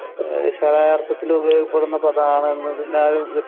അര്‍ത്ഥത്തില്‍ ഉപയോഗപ്പെടുന്ന പദമാണ് എന്നതിനാലും